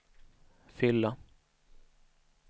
fylla